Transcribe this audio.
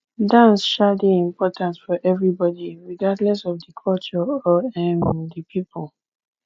dance um dey important for everybody regardless of di culture or um di people